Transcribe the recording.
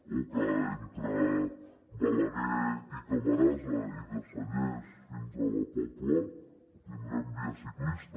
o que entre balaguer i camarasa i de cellers fins a la pobla tindrem via ciclista